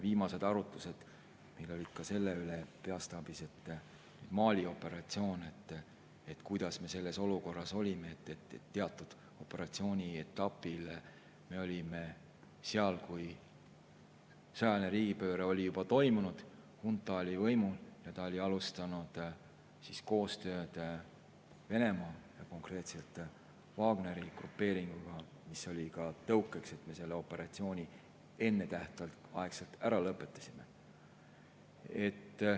Viimased arutlused peastaabis olid ka Mali operatsiooni üle, et kuidas me sellesse olukorda, et teatud operatsiooni etapil me olime seal siis, kui sõjaline riigipööre oli juba toimunud, hunta oli võimul ja ta oli alustanud koostööd Venemaa ja konkreetselt Wagneri grupeeringuga, mis oli ka tõukeks, et me selle operatsiooni ennetähtaegselt ära lõpetasime.